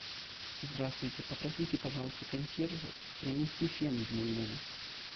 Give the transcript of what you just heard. здравствуйте попросите пожалуйста консьержа принести фен в мой номер